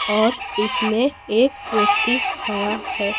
और इसमें एक व्यक्ति खड़ा है।